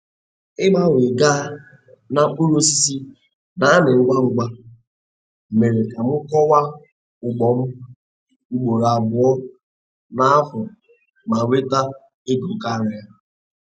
Ịgbanwe gaa na mkpụrụ osisi n'amị ngwa ngwa, mere ka m kọwa ugbom ugboro abụọ n'afọ ma nweta ego karịa